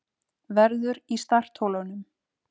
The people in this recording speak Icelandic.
Verður í startholunum